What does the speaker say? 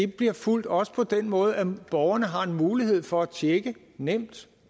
bliver fulgt også på den måde at borgerne har en mulighed for at tjekke nemt